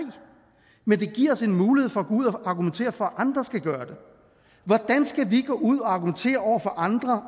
men det giver os en mulighed for at ud og argumentere for at andre skal gøre det hvordan skal vi gå ud og argumentere over for andre